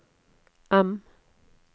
M